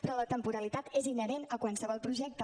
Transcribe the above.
però la temporalitat és inherent a qualsevol projecte